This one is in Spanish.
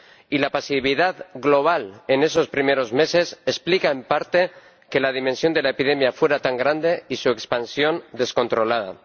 Y la pasividad global en esos primeros meses explica, en parte, que la dimensión de la epidemia fuera tan grande, y su expansión, descontrolada.